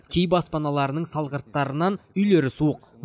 кей баспаналардың салғырттарынан үйлері суық